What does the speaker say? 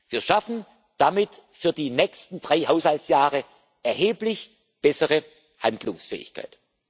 Wir schaffen damit für die nächsten drei Haushaltsjahre erheblich bessere Handlungsfähigkeit.